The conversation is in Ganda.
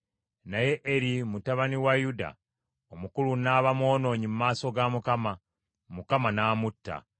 Naye Eri mutabani wa Yuda omukulu n’aba mwonoonyi mu maaso ga Mukama ; Mukama n’amutta.